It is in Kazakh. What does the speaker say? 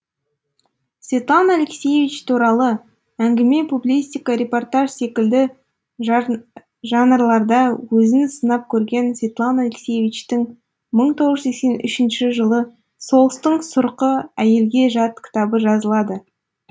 светлана алексиевич туралы әңгіме публистика репортаж секілді жанрларда өзін сынап көрген светлана алексиевичтің мың тоғыз жүз сексен үшінші жылы соғыстың сұрқы әйелге жат кітабы жазылады